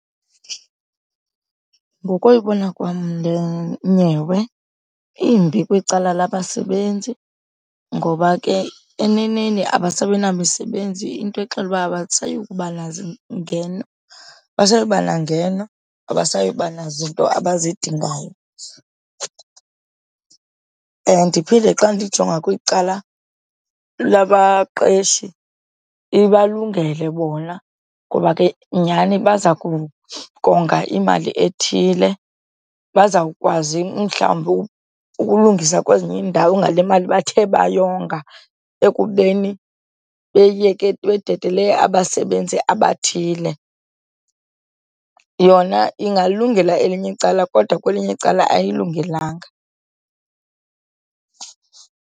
Ngokoyibona kwam le nyewe imbi kwicala labasebenzi ngoba ke eneneni abasabi namisebenzi, into exela uba abasayi abasayi kuba nangeno, abasayi kuba nazinto abazidingayo. Ndiphinde xa ndijonga kwicala lababaqeshi ibalungele bona ngoba ke nyhani baza kukonga imali ethile, bazawukwazi mhlawumbi ukulungisa kwezinye iindawo ngale mali bathe bayonga ekubeni beyeke, bededele abasebenzi abathile. Yona ingayilungela elinye icala kodwa kwelinye icala ayilungelanga.